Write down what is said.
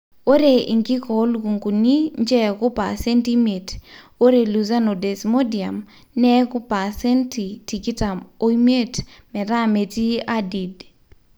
ore inkik oo lukunguni ncheeku paasenti imiet, ore lucerne o desmodium neek paseenti tikitam o imietmetaa metii adid